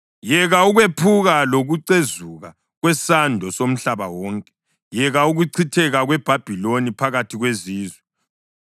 Yeka ukwephuka lokucezuka kwesando somhlaba wonke! Yeka ukuchitheka kweBhabhiloni phakathi kwezizwe!